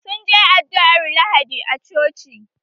Sun je addu'ar lahadi a coci